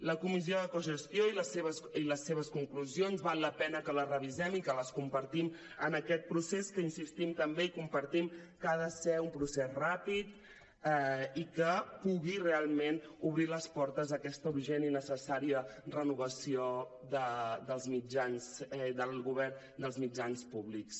la comissió de cogestió i les seves conclusions val la pena que les revisem i que les compartim en aquest procés que hi insistim també compartim que ha de ser un procés ràpid i que pugui realment obrir les portes a aquesta urgent i necessària renovació del govern dels mitjans públics